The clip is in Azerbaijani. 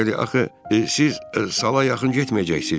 axı siz sala yaxın getməyəcəksiz.